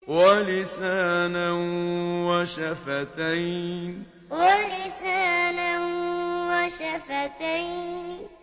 وَلِسَانًا وَشَفَتَيْنِ وَلِسَانًا وَشَفَتَيْنِ